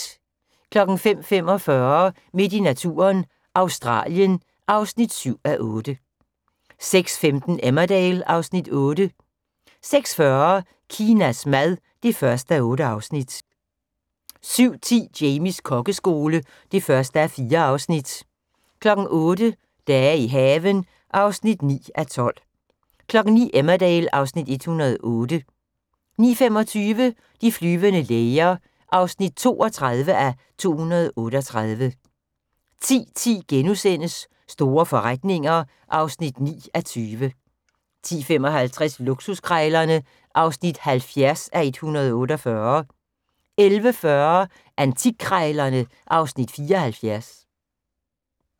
05:45: Midt i naturen – Australien (7:8) 06:15: Emmerdale (Afs. 8) 06:40: Kinas mad (1:8) 07:10: Jamies kokkeskole (1:4) 08:00: Dage i haven (9:12) 09:00: Emmerdale (Afs. 108) 09:25: De flyvende læger (32:238) 10:10: Store forretninger (9:20)* 10:55: Luksuskrejlerne (70:148) 11:40: Antikkrejlerne (Afs. 74)